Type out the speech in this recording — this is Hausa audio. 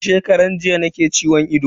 Tun shekaran jiya nake ciwon ido.